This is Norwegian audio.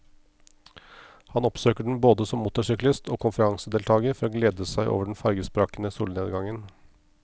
Han oppsøker den både som motorsyklist og konferansedeltager for å glede seg over den farvesprakende solnedgangen.